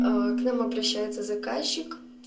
к нам обращаются заказчик